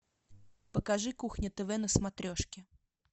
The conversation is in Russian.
покажи кухня тв на смотрешке